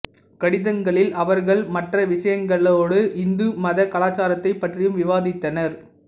கடிதங்களில் அவர்கள் மற்ற விஷயங்களோடு இந்து மதக் கலாச்சாரத்தைப் பற்றியும் விவாதித்தனர்